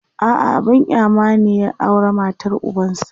a'a abun kyama ne ya aura matar ubansa